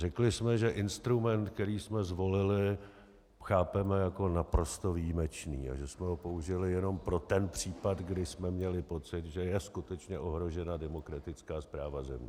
Řekli jsme, že instrument, který jsme zvolili, chápeme jako naprosto výjimečný a že jsme ho použili jenom pro ten případ, kdy jsme měli pocit, že je skutečně ohrožena demokratická správa země.